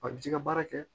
A bɛ j'i ka baara kɛ